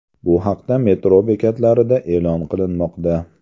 Bu haqda metro bekatlarida e’lon qilinmoqda.